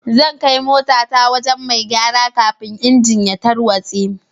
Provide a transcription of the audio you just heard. Zan kai mota ta wajen mai gyara kafin engine tarwatse.